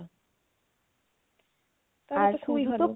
আর শুধুতো তাহলে তো খুবই ভালো